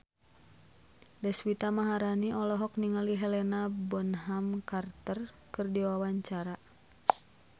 Deswita Maharani olohok ningali Helena Bonham Carter keur diwawancara